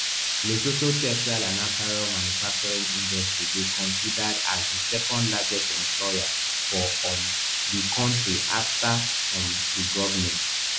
lesotho textile and apparel manufacturing industry dey considered as di secondlargest employer for um di country afta um di govment